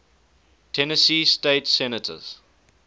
tennessee state senators